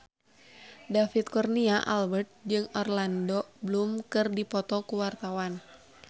David Kurnia Albert jeung Orlando Bloom keur dipoto ku wartawan